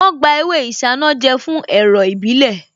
Wọ́n gba ewé Isanaje fún ẹ̀rọ̀ ìbílẹ̀